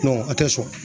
a tɛ sɔn